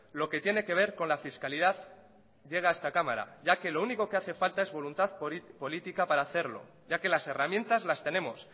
lo que tiene que ver con la fiscalidad que llega a esta cámara ya que lo único que hace falta es voluntad política para hacerlo ya que las herramientas las tenemos